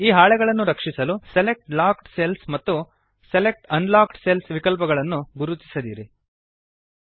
ಈ ಹಾಳೆಗಳನ್ನು ರಕ್ಷಿಸಲು ಸೆಲೆಕ್ಟ್ ಲಾಕ್ಡ್ ಸೆಲ್ಸ್ ಮತ್ತು ಸೆಲೆಕ್ಟ್ ಅನ್ಲಾಕ್ಡ್ ಸೆಲ್ಸ್ ವಿಕಲ್ಪಗಳನ್ನು ಗುರುತಿಸದಿರಿಅನ್ ಚೆಕ್